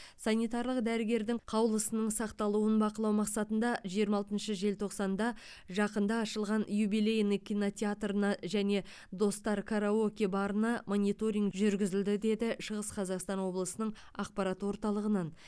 санитарлық дәрігердің қаулысының сақталуын бақылау мақсатында жиырма алтыншы желтоқсанда жақында ашылған юбилейный кинотеатрына және достар караоке барына мониторинг жүргізілді деді шығыс қазақстан облысының ақпарат орталығынан